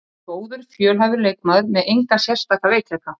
Hann er góður, fjölhæfur leikmaður með enga sérstaka veikleika.